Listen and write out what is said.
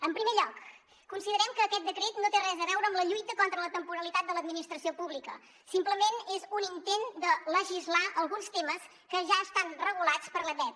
en primer lloc considerem que aquest decret no té res a veure amb la lluita contra la temporalitat de l’administració pública simplement és un intent de legislar alguns temes que ja estan regulats per l’ebep